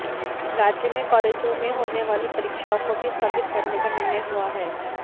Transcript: राज्य में कालेजों में होने वाली परीक्षाओं को भी स्थगित करने का निर्णय हुआ है